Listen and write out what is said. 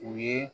U ye